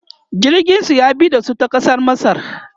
jirgin su ya bi da su ta kasar masar